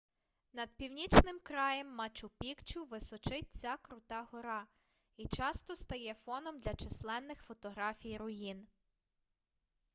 над північним краєм мачу-пікчу височить ця крута гора і часто стає фоном для численних фотографій руїн